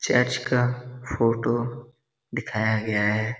Church का photo दिखाया गया है।